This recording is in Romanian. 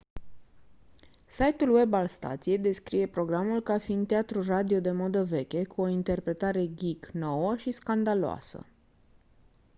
site-ul web al stației descrie programul ca fiind «teatru radio de modă veche cu o interpretare geek nouă și scandaloasă!»